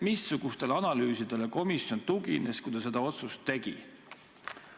Missugustele analüüsidele komisjon tugines, kui ta seda otsust tegi?